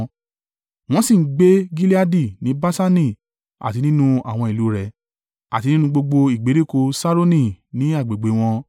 Wọ́n sì ń gbé Gileadi ní Baṣani àti nínú àwọn ìlú rẹ̀, àti nínú gbogbo ìgbèríko Ṣaroni, ní agbègbè wọn.